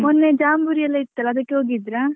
ಮೊನ್ನೆ ಜಾಂಬುರಿ ಎಲ್ಲ ಇತ್ತಲ್ಲ ಅದಕ್ಕೆ ಹೋಗಿದ್ರಾ?